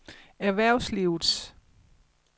erhvervslivet